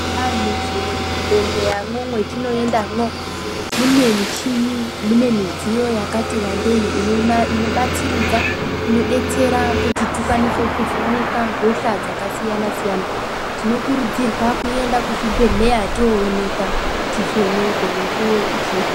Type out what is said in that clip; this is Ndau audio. Eya mu zvibhedhleya mwo mwetino endamwo mune michini mune midziyo yakati wandei ino batsiridza ino detsera kuti tikwanise ku vhenekwa hosha dzaka siyana siyana tino kurudzirwa ku enda ku zvibhedhleya to onekwa ti vhenekwe mukuwo uchiripo.